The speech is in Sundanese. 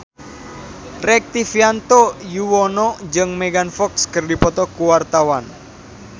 Rektivianto Yoewono jeung Megan Fox keur dipoto ku wartawan